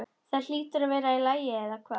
Það hlýtur að vera í lagi, eða hvað?